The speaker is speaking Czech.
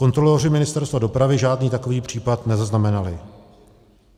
Kontroloři Ministerstva dopravy žádný takový případ nezaznamenali.